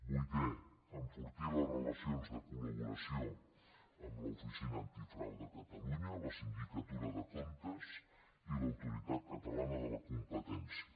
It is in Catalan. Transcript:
vuitè enfortir les relacions de col·laboració amb l’oficina antifrau de catalunya la sindicatura de comptes i l’autoritat catalana de la competència